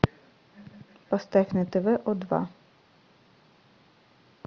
поставь на тв о два